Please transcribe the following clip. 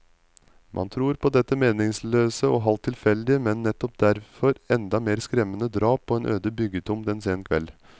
Man tror på dette meningsløse og halvt tilfeldige, men nettopp derfor enda mer skremmende drap på en øde byggetomt en sen kveld.